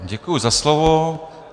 Děkuji za slovo.